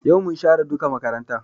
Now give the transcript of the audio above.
Yau mun share duka makarantan